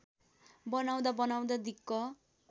बनाउँदा बनाउँदा दिक्क